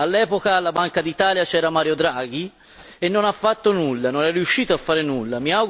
All'epoca alla Banca d'Italia c'era Mario Draghi e non ha fatto nulla, non è riuscito a fare nulla.